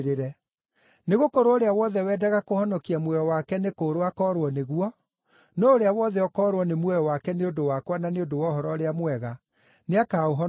Nĩgũkorwo ũrĩa wothe wendaga kũhonokia muoyo wake nĩ kũũrwo akoorwo nĩguo, no ũrĩa wothe ũkoorwo nĩ muoyo wake nĩ ũndũ wakwa na nĩ ũndũ wa Ũhoro-ũrĩa-Mwega, nĩakaũhonokia.